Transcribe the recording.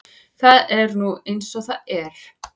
Það er nú eins og það er.